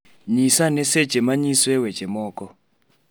Nyisa ane seche ma anyisoe weche moko